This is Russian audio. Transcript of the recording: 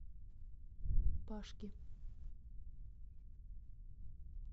пашки